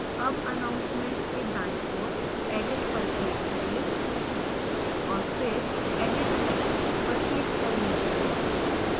अब announcements के दाईं ओर edit पर click करें और फिर edit settings पर click करें